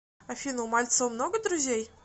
афина у мальцева много друзей